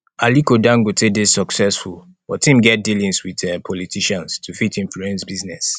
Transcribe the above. aliko dangote dey successful but im get dealings with um politicians to fit influence business